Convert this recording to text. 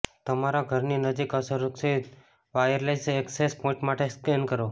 તમારા ઘરની નજીક અસુરક્ષિત વાયરલેસ એક્સેસ પોઇન્ટ્સ માટે સ્કેન કરો